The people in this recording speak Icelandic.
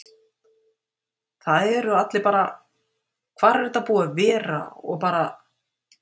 Það eru allir bara: Hvar er þetta búið að vera? og bara.